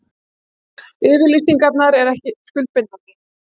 Yfirlýsingarnar ekki skuldbindandi